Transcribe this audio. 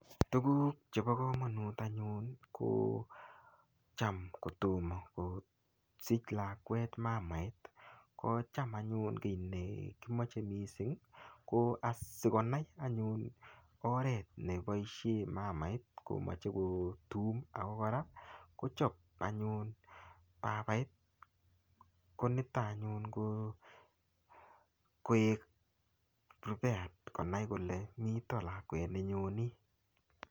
Tuguk chebo kamanut anyun kocham kotoma kosich lakwet mamait, ko cham anyun kit ne kimoche mising ko asikonai anyun oret neboisie mamait ko tum ago kora kocham anyun ko babait konito anyun ko koek prepared konai kole mito lakwet ne nyoni.